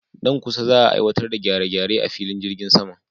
Nan kusa za'a aiwatar da gyare-gyare a filin jirgin saman.